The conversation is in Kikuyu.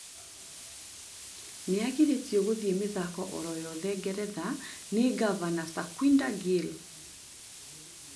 Nĩagirĩtio gũthiĩ mĩthako oro yothe ngeretha nĩ ngavana Sukwinder Gill